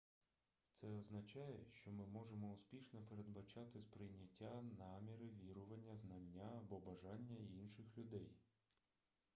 це означає що ми можемо успішно передбачати сприйняття наміри вірування знання або бажання інших людей